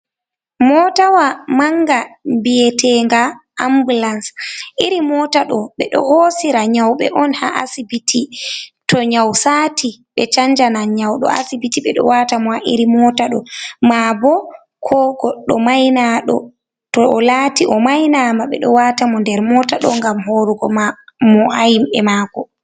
Motawa manga nbiyete nga ambulans. Iri motaɗo ɓeɗo hosira nyawbe on ha asibiti, to nyaw sati ɓe chanjanan nyauɗo asibiti. Ɓe ɗo wata mo ha iri mota ɗo. Ma bo ko goɗɗo may naɗo to o lati o may nama ɓeɗo wata mo nder mota ɗo ngam horugo mo’hayim ɓe mako.